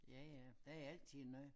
Ja ja der er altid noget